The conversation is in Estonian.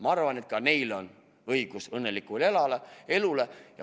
Ma arvan, et ka neil on õigus õnnelikule elule.